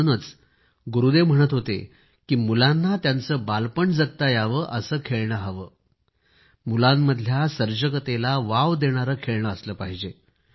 म्हणूनच गुरूदेव म्हणत होते की मुलांना त्यांचे बालपण जगता यावे असे खेळणे हवे आहे मुलांमधल्या सर्जकतेला वाव देणारे खेळणे असले पाहिजे